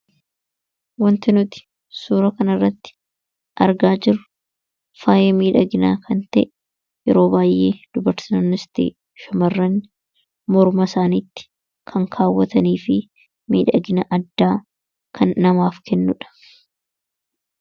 Wanti nuti suura kana irratti argaa jirru faaya miidhaginaa kan ta'e yeroo baay'ee dubartootas ta'ee shamarran morma isaanitti kan kaawwatanii fi miidhagina addaa kan namaaf kennuudha.